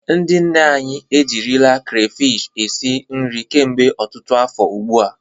Ndị nne anyị ejirila krafish esi nri kemgbe ọtụtụ afọ ugbu a.